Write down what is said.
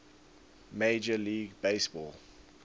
major league baseball